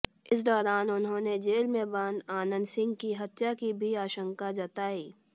इस दौरान उन्होंने जेल में बंद अनंत सिंह की हत्या की भी आशंका जताई